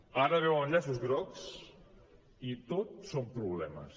ara veuen llaços grocs i tot són problemes